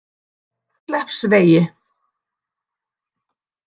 Kleppsvegi